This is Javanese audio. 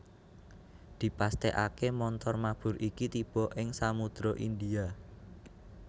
Dipastèkaké montor mabur iki tiba ing Samudra India